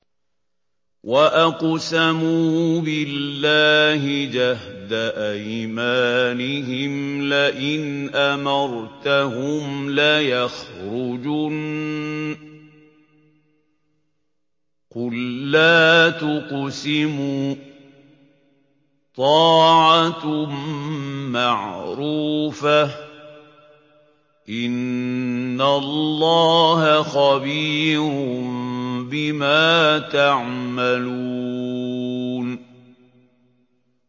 ۞ وَأَقْسَمُوا بِاللَّهِ جَهْدَ أَيْمَانِهِمْ لَئِنْ أَمَرْتَهُمْ لَيَخْرُجُنَّ ۖ قُل لَّا تُقْسِمُوا ۖ طَاعَةٌ مَّعْرُوفَةٌ ۚ إِنَّ اللَّهَ خَبِيرٌ بِمَا تَعْمَلُونَ